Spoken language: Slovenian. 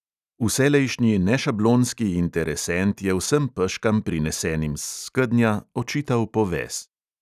Vselejšnji nešablonski interesent je vsem peškam, prinesenim s skednja, očital poves.